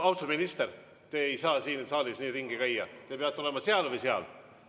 Austatud minister, te ei saa siin saalis nii ringi käia, te peate olema seal või seal.